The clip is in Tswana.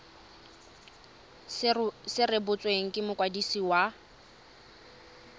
se rebotswe ke mokwadisi wa